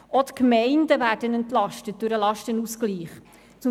Auch die Gemeinden werden durch den Lastenausgleich entlastet.